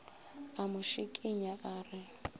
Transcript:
a mo šikinya a re